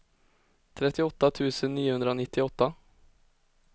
trettioåtta tusen niohundranittioåtta